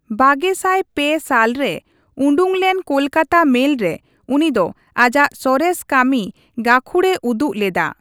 ᱵᱟᱜᱮᱥᱟᱭ ᱯᱮ ᱥᱟᱞ ᱨᱮ ᱩᱰᱩᱠ ᱞᱮᱱ, ᱠᱳᱞᱠᱟᱛᱟ ᱢᱮᱞ ᱨᱮ, ᱩᱱᱤ ᱫᱚ ᱟᱡᱟᱜ ᱥᱚᱨᱮᱥ ᱠᱟᱹᱢᱤ ᱜᱟᱹᱠᱷᱩᱲᱮ ᱩᱫᱩᱜ ᱞᱮᱫᱟ ᱾